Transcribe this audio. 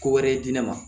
Ko wɛrɛ ye di ne ma